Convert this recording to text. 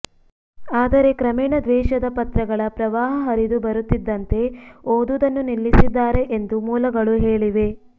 ಆದರೆ ಕ್ರಮೇಣ ದ್ವೇಷದ ಪತ್ರಗಳ ಪ್ರವಾಹ ಹರಿದು ಬರುತ್ತಿದ್ದಂತೆ ಓದುವುದನ್ನು ನಿಲ್ಲಿಸಿದ್ದಾರೆ ಎಂದು ಮೂಲಗಳು ಹೇಳಿವೆ